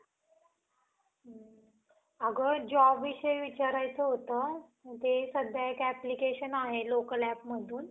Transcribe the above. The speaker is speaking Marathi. अगं job विषयी विचारायचं होतं, ते सध्या एक application आहे local appमधून